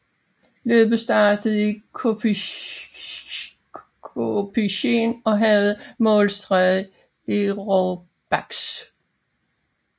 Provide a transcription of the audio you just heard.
Løbet startede i Compiègne og havde målstreg i Roubaix